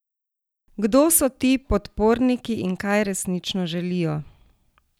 Kdo so ti podporniki in kaj resnično želijo?